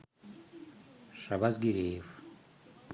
шабазгериев